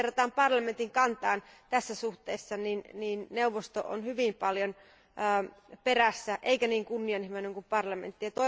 Jos verrataan parlamentin kantaan tässä suhteessa, niin neuvosto on hyvin paljon perässä eikä niin kunnianhimoinen kuin parlamentti.